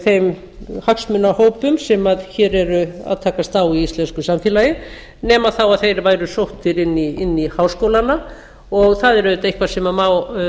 þeim hagsmunahópum sem hér eru að haust á í íslensku samfélagi nema þá að þeir væru sóttir inn í háskólana og það er auðvitað eitthvað sem má